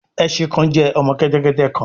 Ẹṣin kan jẹ ọmọ kẹtẹkẹtẹ kan